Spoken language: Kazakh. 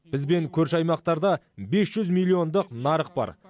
бізбен көрші аймақтарда бес жүз миллиондық нарық бар